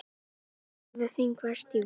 Málið verður þingfest í vor.